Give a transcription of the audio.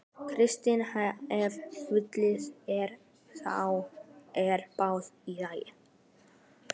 Kristinn: Ef svindlið er. þá er það í lagi?